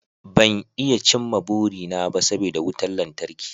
Ban iya cimma burina ba saboda wutar lantarki